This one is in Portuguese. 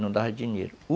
Não dava dinheiro, u